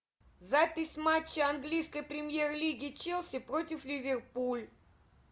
запись матча английской премьер лиги челси против ливерпуль